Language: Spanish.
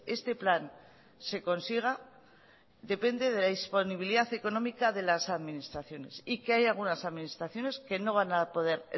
este plan se consiga depende de la disponibilidad económica de las administraciones y que hay algunas administraciones que no van a poder